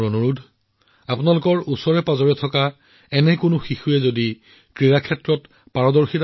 এই ক্ৰীড়াসমূহত ভাৰতীয় খেলুৱৈসকলৰ সফলতাই বৌদ্ধিক অক্ষমতাৰ সন্মুখীন হোৱা আন শিশু আৰু পৰিয়ালসমূহকো অনুপ্ৰাণিত কৰিব বুলি মোৰ বিশ্বাস